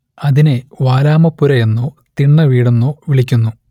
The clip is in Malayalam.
അതിനെ വാലാമപ്പുര എന്നോ തിണ്ണവീടെന്നോ വിളിക്കുന്നു